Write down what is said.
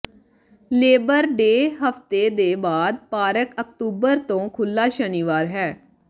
labour day ਹਫਤੇ ਦੇ ਬਾਅਦ ਪਾਰਕ ਅਕਤੂਬਰ ਤੋਂ ਖੁੱਲ੍ਹਾ ਸ਼ਨੀਵਾਰ ਹੈ